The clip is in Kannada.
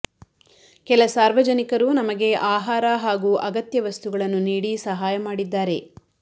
ಕೆಲ ಸಾರ್ವಜನಿಕರು ನಮಗೆ ಆಹಾರ ಹಾಗೂ ಅಗತ್ಯ ವಸ್ತುಗಳನ್ನು ನೀಡಿ ಸಹಾಯ ಮಾಡಿದ್ದಾರೆ